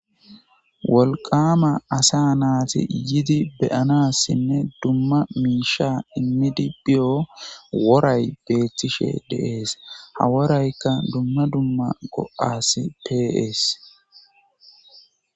wolqama asa naati yidi beyanassinne dumma miisha immidi biyo woray beethtishe deees haworaykka dumma dumma qo7as peees